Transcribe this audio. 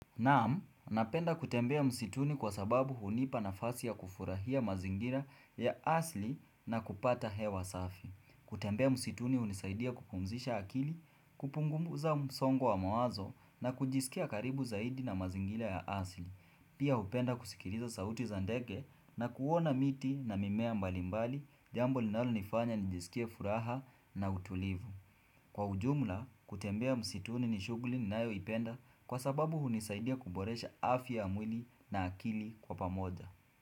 Naam, napenda kutembea msituni kwa sababu hunipa nafasi ya kufurahia mazingira ya asili na kupata hewa safi. Kutembea msituni hunisaidia kupumzisha akili, kupunguza msongo wa mawazo na kujisikia karibu zaidi na mazingira ya asili. Pia hupenda kusikiliza sauti za dege na kuona miti na mimea mbalimbali jambo linalo nifanya nijisikie furaha na utulivu. Kwa ujumla, kutembea msituni ni shuguli ni nayoipenda kwa sababu hunisaidia kuboresha afya ya mwili na akili kwa pamoja.